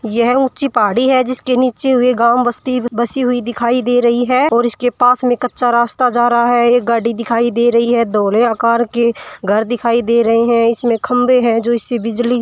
यह ऊंची पहाड़ी है जिसके नीचे हुए गांव बस्ती बसी हुई दिखाई दे रही है और उसके पास में कच्चा रास्ता जा रहा है एक गाड़ी दिखाई दे रही है धोले आकार की घर दिखाई दे रहे हैं इसमें खंबे हैं जो ऐसी बिजली --